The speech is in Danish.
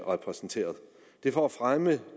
repræsenteret det er for at fremme